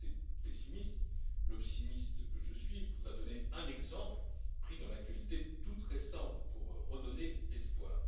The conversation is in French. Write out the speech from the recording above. À ces pessimistes, l'optimiste que je suis voudrait donner un exemple pris dans l'actualité toute récente pour redonner espoir.